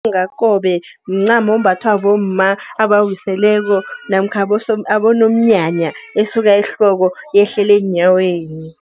Umlingakobe mncamo ombathwa bomma abawiseleko namkha abonomnyanya, esuka ehloko yehlele eenyaweni.